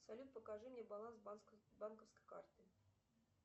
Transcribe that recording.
салют покажи мне баланс банковской карты